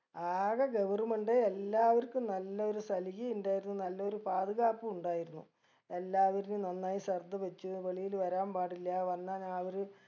ആകെ government എല്ലാവർക്കും നല്ലൊരു സൽഗി ഇണ്ടായിരുന്നു നല്ലൊരു പാത്കാപ്പും ഇണ്ടായിരുന്നു എല്ലാവെര്നെയും നന്നായി ശ്രദ്ധ വച്ച് വെളിയിൽ വരാൻ പാടില്ല വന്നാൽ ഞാ അവര്